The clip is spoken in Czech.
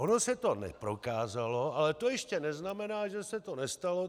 Ono se to neprokázalo, ale to ještě neznamená, že se to nestalo.